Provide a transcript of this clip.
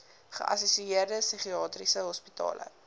geassosieerde psigiatriese hospitale